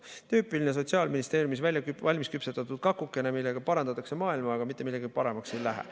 Tüüpiline Sotsiaalministeeriumis valmisküpsetatud kakuke, millega parandatakse maailma, aga mitte midagi paremaks ei lähe.